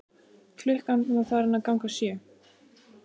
Klukkan var farin að ganga sjö.